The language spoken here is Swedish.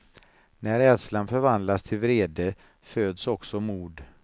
När rädslan förvandlas till vrede föds också mod.